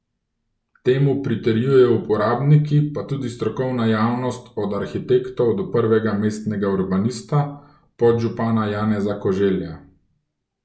Temu pritrjujejo uporabniki pa tudi strokovna javnost od arhitektov do prvega mestnega urbanista, podžupana Janeza Koželja.